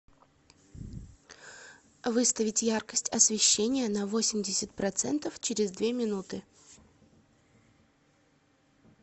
выставить яркость освещения на восемьдесят процентов через две минуты